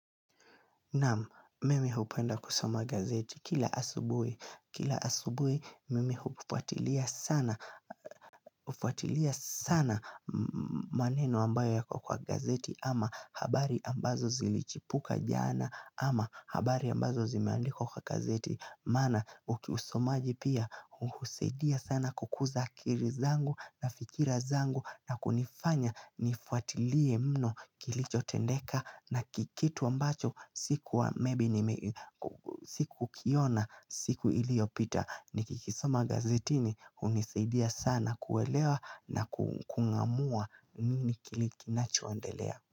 Naam, mimi hupenda kusoma gazeti kila asubuhi Kila asubuhi, mimi hufuatilia sana maneno ambayo yako kwa gazeti ama habari ambazo zilichipuka jana ama habari ambazo zimeandikwa kwa gazeti. Maana ukiusomaji pia uhusaidia sana kukuza akili zangu na fikira zangu na kunifanya nifuatilie mno kilicho tendeka na kikitu ambacho sikukiona siku iliyopita Nikikisoma gazetini hunisaidia sana kuelewa na kungamua nini kile kinachoendelea.